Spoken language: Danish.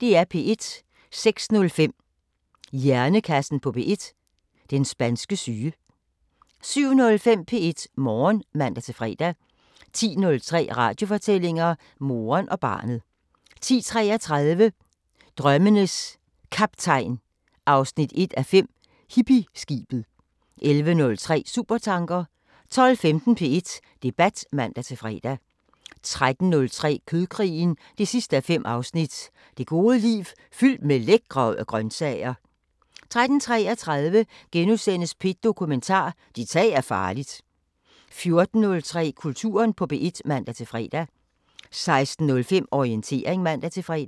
06:05: Hjernekassen på P1: Den spanske syge 07:05: P1 Morgen (man-fre) 10:03: Radiofortællinger: Moren og barnet 10:33: Drømmenes Kaptajn 1:5 – Hippieskibet 11:03: Supertanker 12:15: P1 Debat (man-fre) 13:03: Kødkrigen 5:5 – Det gode liv fyldt med lækre grøntsager 13:33: P1 Dokumentar: Dit tag er farligt * 14:03: Kulturen på P1 (man-fre) 16:05: Orientering (man-fre)